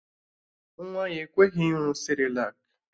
Nwa ya ekweghị ịṅụ sịrịlak